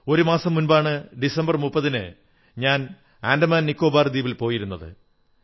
ഒരു മാസം മുമ്പാണ് ഡിസംബർ 30 ന് ഞാൻ ആൻഡമാൻ നിക്കോബാർ ദ്വീപിൽ പോയിരുന്നത്